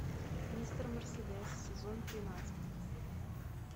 мистер мерседес сезон тринадцать